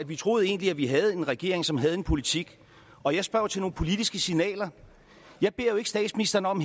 vi troede egentlig at vi havde en regering som havde en politik og jeg spørger jo til nogle politiske signaler jeg beder ikke statsministeren om